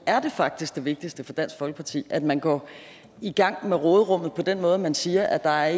er det faktisk det vigtigste for dansk folkeparti at man går i gang med råderummet på den måde at man siger at der